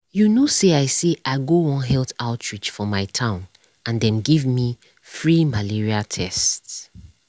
you know say i say i go one health outreach for my town and dem give me free malaria tests.